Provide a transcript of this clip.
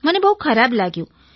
મને બહુ ખરાબ લાગ્યું